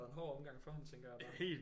En hård omgang for ham tænker jeg bare